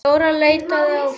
Dóra leitaði áfram.